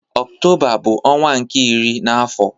Ọktoba bu ọnwa nke iri na afo